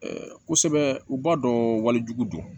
kosɛbɛ u b'a dɔn wali jugu don